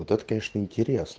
вот это конечно интерес